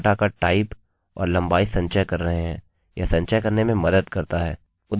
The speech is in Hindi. यह संचय करने में मदद करता है उदाहरणस्वरुप आपका firstname